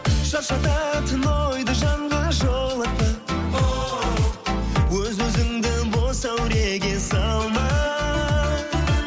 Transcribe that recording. шаршататын ойды жанға жолатпа оу өз өзіңді бос әуреге салма